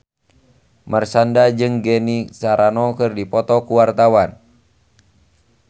Marshanda jeung Gina Carano keur dipoto ku wartawan